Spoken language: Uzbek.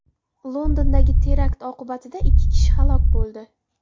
Londondagi terakt oqibatida ikki kishi halok bo‘ldi.